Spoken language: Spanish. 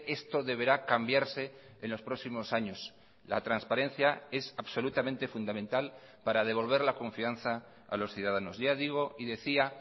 esto deberá cambiarse en los próximos años la transparencia es absolutamente fundamental para devolver la confianza a los ciudadanos ya digo y decía